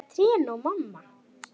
Líka trén og mamma.